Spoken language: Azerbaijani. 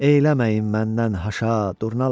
Eləməyin məndən haşa durnalar.